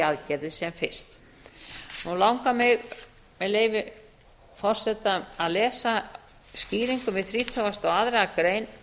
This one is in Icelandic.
aðgerðir sem fyrst nú langar mig með leyfi forseta að lesa skýringu við þrítugustu og aðra grein